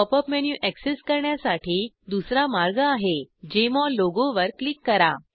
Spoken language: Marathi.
पॉप अप मेनू एक्सेस करण्यासाठी दुसरा मार्ग आहे जेएमओल लोगोवर क्लिक करा